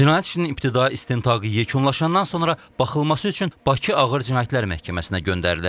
Cinayət işinin ibtidai istintaqı yekunlaşandan sonra baxılması üçün Bakı Ağır Cinayətlər Məhkəməsinə göndərilib.